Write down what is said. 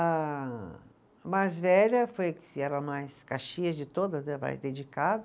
A mais velha, foi que era a mais caxias de todas, a mais dedicada,